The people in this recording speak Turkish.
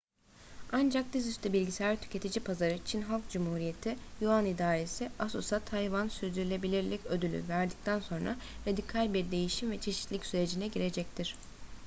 ancak dizüstü bilgisayar tüketici pazarı çin halk cumhuriyeti yuan i̇daresi asus’a tayvan sürdürülebilirlik ödülü verdikten sonra radikal bir değişim ve çeşitlilik sürecine girecektir